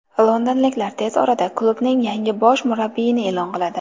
Londonliklar tez orada klubning yangi bosh murabbiyini e’lon qiladi.